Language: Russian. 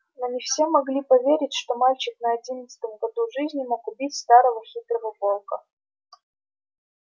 но не все могли поверить что мальчик на одиннадцатом году жизни мог убить старого хитрого волка